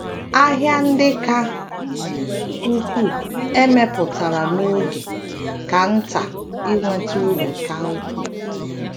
ahịa ndi ka ukwuu e mepụtara n’oge ka nta iweta uru ka ukwuu.